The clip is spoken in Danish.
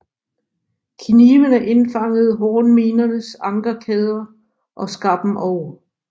Knivene indfangede hornminernes ankerkæder og skar dem over